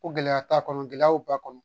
Ko gɛlɛya t'a kɔnɔ gɛlɛyaw b'a kɔnɔ